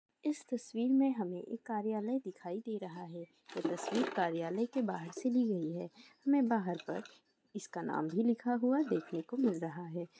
इस तस्वीर में हमें एक कार्यालय दिखाई दे रहा है यह तस्वीर कार्यालय के बाहर से ली गई है हमें बाहर पर इसका नाम भी लिखा हुआ देखने को मिल रहा है।